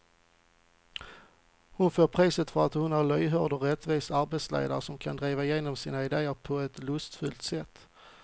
Hon får priset för att hon är en lyhörd och rättvis arbetsledare som kan driva igenom sina idéer på ett lustfyllt sätt.